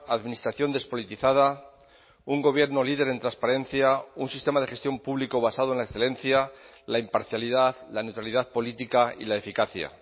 administración despolitizada un gobierno líder en transparencia un sistema de gestión público basado en la excelencia la imparcialidad la neutralidad política y la eficacia